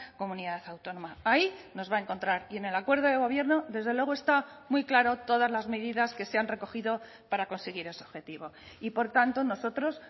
comunidad autónoma ahí nos va a encontrar y en el acuerdo de gobierno desde luego está muy claro todas las medidas que se han recogido para conseguir ese objetivo y por tanto nosotros